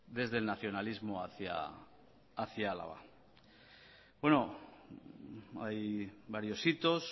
desde el nacionalismo hacia álava bueno hay varios hitos